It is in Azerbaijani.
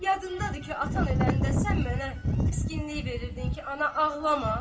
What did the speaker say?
yadındadır ki, atan öləndə sən mənə təskinlik verirdin ki, ana, ağlama.